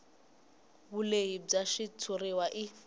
vulehi bya xitshuriwa i